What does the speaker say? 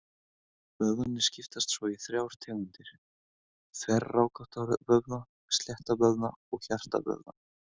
Vöðvarnir skiptast svo í þrjár tegundir: Þverrákótta vöðva, slétta vöðva og hjartavöðva.